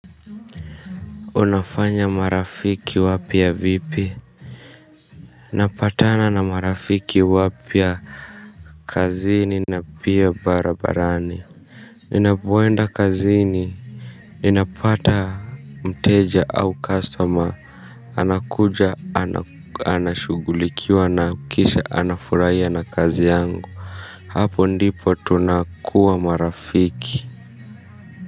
Unafanya marafiki wapya vipi. Napatana na marafiki wapya. Kazini na pia barabarani. Ninapoenda kazini ninapata mteja au customer. Anakuja anashugulikiwa na kisha anafuraiya na kazi yangu. Hapo ndipo tunakuwa marafiki.